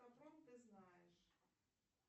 ты знаешь